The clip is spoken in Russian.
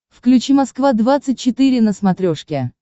включи москва двадцать четыре на смотрешке